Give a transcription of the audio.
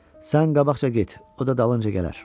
Sən qabaqca get, o da dalınca gələr.